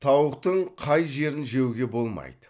тауықтың қай жерін жеуге болмайды